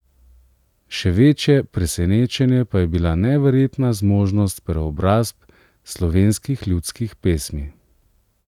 Še večje presenečenje pa je bila neverjetna zmožnost preobrazb slovenskih ljudskih pesmi.